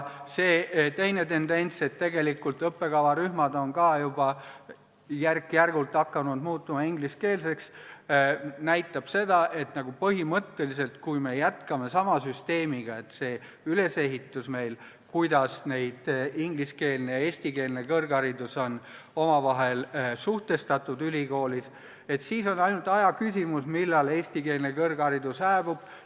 Teine tendents on see, et tegelikult on ka õppekavarühmad juba järk-järgult hakanud ingliskeelseks muutuma, mis näitab seda, et kui me jätkame sama süsteemiga – selle ülesehitusega, kuidas ingliskeelne ja eestikeelne kõrgharidus on meil ülikoolis omavahel suhestatud –, siis on ainult aja küsimus, millal eestikeelne kõrgharidus hääbub.